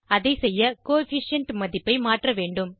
அதை செய்ய கோஎஃபிஷியன்ட் மதிப்பை மாற்ற வேண்டும்